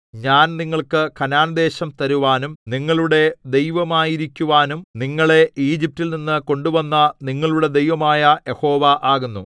ഞാൻ നിങ്ങൾക്ക് കനാൻദേശം തരുവാനും നിങ്ങളുടെ ദൈവമായിരിക്കുവാനും നിങ്ങളെ ഈജിപ്റ്റിൽനിന്നു കൊണ്ടുവന്ന നിങ്ങളുടെ ദൈവമായ യഹോവ ആകുന്നു